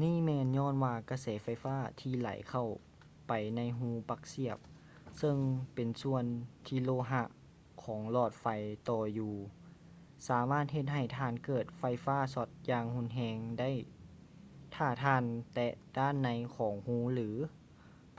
ນີ້ແມ່ນຍ້ອນວ່າກະແສໄຟຟ້າທີ່ໄຫຼເຂົ້າໄປໃນຮູປັກສຽບເຊິ່ງເປັນສ່ວນທີ່ໂລຫະຂອງຫຼອດໄຟຕໍ່ຢູ່ ສາມາດເຮັດໃຫ້ທ່ານເກີດໄຟຟ້າຊັອດຢ່າງຮຸນແຮງໄດ້ຖ້າທ່ານແຕະດ້ານໃນຂອງຮູ ຫຼື